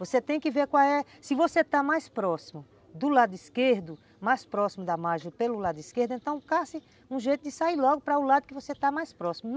Você tem que ver qual é, se você está mais próximo do lado esquerdo, mais próximo da margem pelo lado esquerdo, então, caça um jeito de sair logo para o lado que você está mais próximo.